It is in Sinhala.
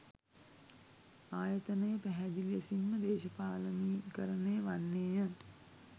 ආයතනය පැහැදිලි ලෙසින්ම දේශපාලනීකරණය වන්නේය.